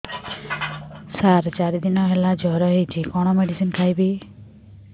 ସାର ଚାରି ଦିନ ହେଲା ଜ୍ଵର ହେଇଚି କଣ ମେଡିସିନ ଖାଇବି